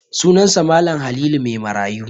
Sunansa Mal. Halilu Maimarayu.